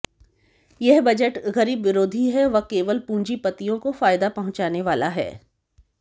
यह बजट गरीब विरोधी है व केवल पूंजीपतियों को फ ायदा पहुंचाने वाला है